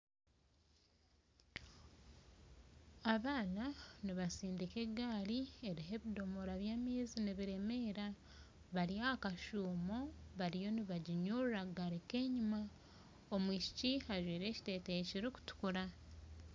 Abaana nibasindika egaari eriho ebidomora by'amaizi nibiremeera bari ahakashuumo bariyo nibaginyurura kugaruka enyuma omwishiki ajwaire ekiteteeyi kirikutukura